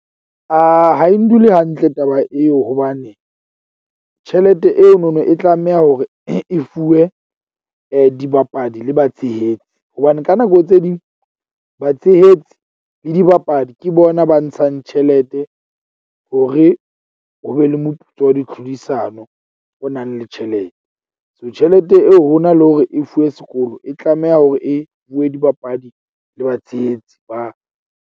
Ha e ndule hantle taba eo hobane tjhelete eno no e tlameha hore e fuwe dibapadi le batshehetsi. Hobane ka nako tse ding batshehetsi le dibapadi ke bona ba ntshang tjhelete hore ho be le moputso wa ditlhodisano o nang le tjhelete. So, tjhelete eo ho na le hore e fuwe sekolo, e tlameha hore e fuwe dibapadi le batshehetsi ba.